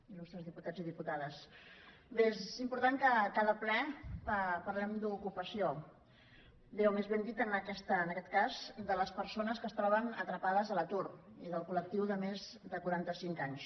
il·lustres diputats i diputades bé és important que a cada ple parlem d’ocupació bé o més ben dit en aquest cas de les persones que es troben atrapades a l’atur i del col·lectiu de més de quaranta cinc anys